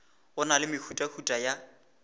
go na le mehutahuta ya